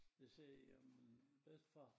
De sagde jamen bedstefar